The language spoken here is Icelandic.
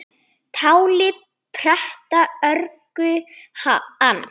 Táli pretta örgu ann